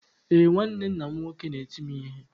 Ee, nwanne nna m nwoke na-eti m ihe.